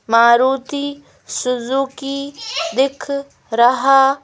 Maruti Suzuki दिख रहा--